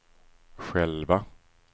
själva